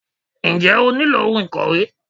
Njẹ́ o nílò ohun ìkòwé?